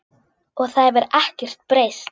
Og það hefur ekkert breyst.